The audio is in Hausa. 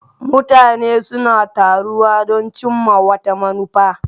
Mutane suna taruwa don cimma wata manufa.